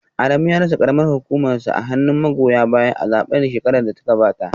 Adamu ya rasa karamar hukumarsa a hannun magoya bayansa a zaben shekarar da ta gabata